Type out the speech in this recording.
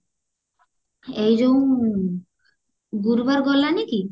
ଏଇ ଯୋଉ ଗୁରୁବାର ଗଲାନି କି